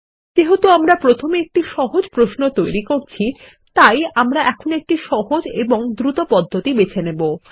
যেহেতু আমরা প্রথমে একটি সহজ প্রশ্ন তৈরি করছি তাই আমরা একটি সহজ এবং দ্রুত পদ্ধতি বেছে নেবো